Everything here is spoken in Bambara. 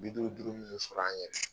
N mi duuru duuru min sɔrɔ an yɛrɛ ye